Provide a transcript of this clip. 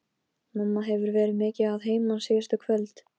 Mamma hefur verið mikið að heiman síðustu kvöld.